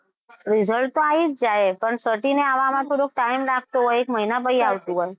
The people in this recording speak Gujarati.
result તો આવી જ જાય પણ certify ને આવવામાં થોડો time લાગતો હોય છે એક મહિના પછી આવતું હોય.